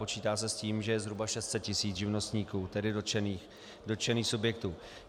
Počítá se s tím, že je zhruba 600 tisíc živnostníků, tedy dotčených subjektů.